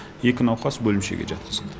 екі науқас бөлімшеге жатқызылды